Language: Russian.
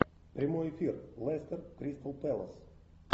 прямой эфир лестер кристал пэлас